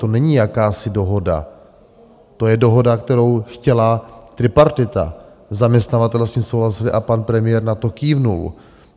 To není jakási dohoda, to je dohoda, kterou chtěla tripartita, zaměstnavatelé s tím souhlasili a pan premiér na to kývl.